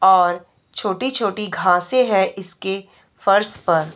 और छोटी-छोटी घासे हैं इसके फर्श पर।